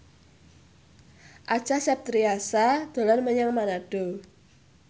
Acha Septriasa dolan menyang Manado